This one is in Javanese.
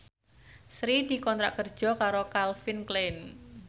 Sri dikontrak kerja karo Calvin Klein